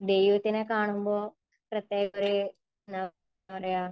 ദൈവത്തിനെ കാണുമ്പോൾ പ്രത്യേകം ഒരു, എന്താ പറയുക,